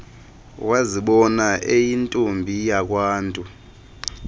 wazibona eyintombi yakwantu